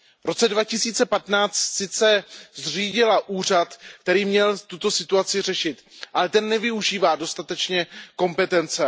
V roce 2015 sice zřídila úřad, který měl tuto situaci řešit, ale ten nevyužívá dostatečně své kompetence.